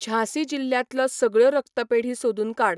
झाँसी जिल्ल्यांतल्यो सगळ्यो रक्तपेढी सोदून काड.